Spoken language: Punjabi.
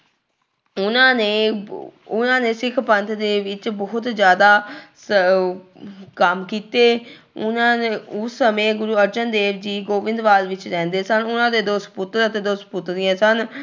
ਉਹਨਾਂ ਨੇ ਉਹਨਾਂ ਨੇ ਸਿੱਖ ਪੰਥ ਦੇ ਬਹੁਤ ਜ਼ਿਆਦਾ ਸ ਕੰਮ ਕੀਤੇ ਉਹਨਾਂ ਨੇ ਉਸ ਸਮੇਂ ਗੁਰੂ ਅਰਜਨ ਦੇਵ ਜੀ ਗੋਬਿੰਦਵਾਲ ਵਿੱਚ ਰਹਿੰਦੇ ਸਨ, ਉਹਨਾਂ ਦੇ ਦੋ ਸਪੁੱਤਰ ਅਤੇ ਦੋ ਸਪੁੱਤਰੀਆਂ ਸਨ।